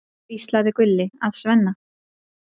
hvíslaði Gulli að Svenna.